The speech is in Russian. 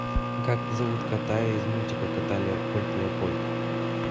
как зовут кота из мультика кот леопольд